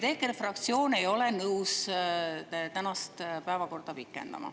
EKRE fraktsioon ei ole nõus tänast pikendama.